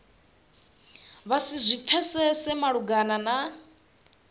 vha si zwi pfesese malugana